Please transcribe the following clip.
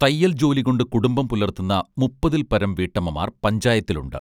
തയ്യൽ ജോലി കൊണ്ട് കുടുംബം പുലർത്തുന്ന മുപ്പതിൽപരം വീട്ടമ്മമാർ പഞ്ചായത്തിലുണ്ട്